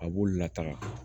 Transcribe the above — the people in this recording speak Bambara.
A b'olu lataga